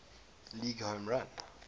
league home run